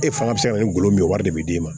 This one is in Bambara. E fanga bɛ se ka na ni golo min ye wari de bɛ d'i ma